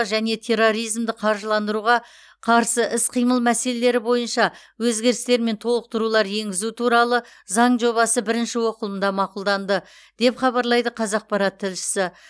және терроризмді қаржыландыруға қарсы іс қимыл мәселелері бойынша өзгерістер мен толықтырулар енгізу туралы заң жобасы бірінші оқылымда мақұлданды деп хабарлайды қазақпарат тілшісі